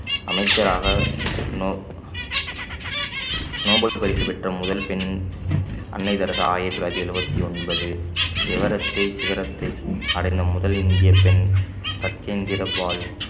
அமைச்சராக நோ~ நோபல் பரிசு பெற்ற முதல் பெண் அன்னை தெரசா ஆயிரத்து தொள்ளாயிரத்து எழுபத்து ஒன்பது everest ஐ சிகரத்தை அடைந்த முதல் இந்தியப் பெண் பச்சேந்திர பால்